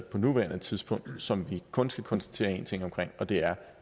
på nuværende tidspunkt og som vi kun skal konstatere én ting om og det er